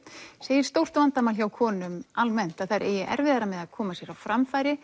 segir stórt vandamál hjá konum almennt að þær eigi erfiðara með að koma sér á framfæri